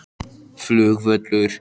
Flugvöllur